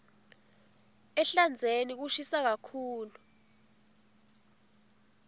ehlandzeni kushisa kakhulu